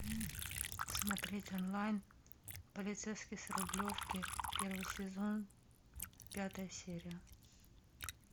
смотреть онлайн полицейский с рублевки первый сезон пятая серия